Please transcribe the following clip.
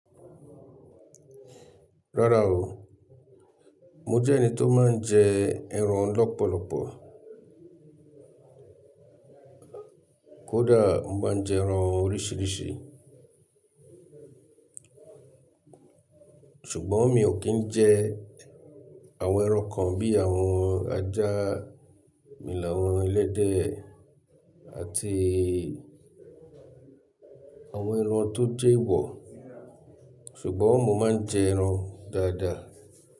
Rárá o, mo jẹ́ ẹni tó máa ń jẹ ẹran lọ́pọ̀lọpọ̀. Kódà mo máa ń jẹ ẹran oríṣìíríṣìí. Ṣùgbọ́n mi ò kí ń jẹ àwọn ẹran kan bíi àwọn ajá, emìlàwọ́n, ẹlẹ́dẹ̀. Àti àwọn ẹran tó jẹ́ ewọ̀. Ṣùgbọ́n mo máa ń jẹ ẹran dáadáa.